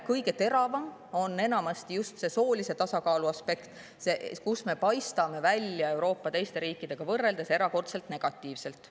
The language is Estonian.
Kõige teravam on enamasti just see soolise tasakaalu aspekt, sest see on see, kus me paistame teiste Euroopa riikidega võrreldes välja erakordselt negatiivselt.